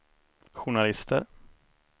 journalister